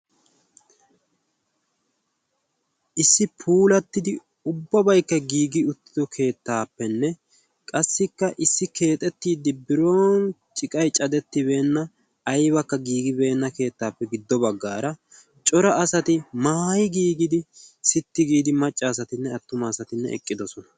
issi puulattidi ubbabaikka giigi uttido keettaappenne qassikka issi keexettiiddi biron ciqay cadettibeenna aybakka giigibeenna keettaappe giddo baggaara cora asati maayi giigidi sitti giidi maccaasatinne attuma asatinne eqqidosona